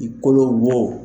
I kolo wo.